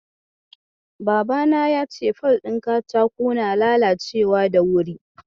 Babana ya ce fol ɗin katako na lalacewa da wuri.